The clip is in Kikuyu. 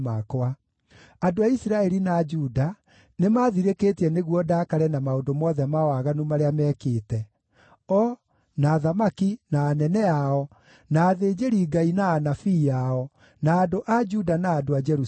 Andũ a Isiraeli na a Juda nĩmathirĩkĩtie nĩguo ndakare na maũndũ mothe ma waganu marĩa meekĩte: o, na athamaki, na anene ao, na athĩnjĩri-Ngai na anabii ao, na andũ a Juda na andũ a Jerusalemu.